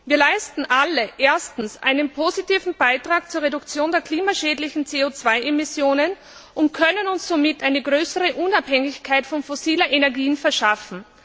Wir leisten alle erstens einen positiven Beitrag zur Reduktion der klimaschädlichen CO 2 Emissionen und können uns somit eine größere Unabhängigkeit von fossilen Energien verschaffen.